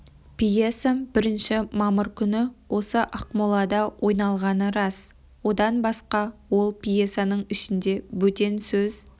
пьесам бірінші мамыр күні осы ақмолада ойналғаны рас одан басқа ол пьесаның ішінде бөтен сөз